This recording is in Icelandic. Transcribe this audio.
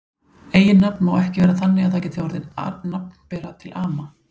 Eiginnafn má ekki vera þannig að það geti orðið nafnbera til ama.